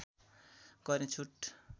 गर्ने छुट